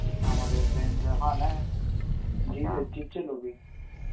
আমাদের friend রা, হ্যা নেয়.